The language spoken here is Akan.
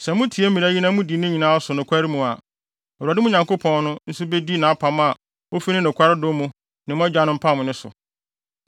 Sɛ mutie mmara yi na mudi ne nyinaa so nokware mu a, Awurade, mo Nyankopɔn no, nso bedi nʼapam a ofi ne nokware dɔ mu ne mo agyanom pamee no so.